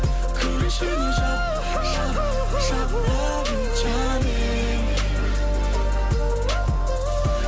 кір ішіне жап жап жап лав ю джаним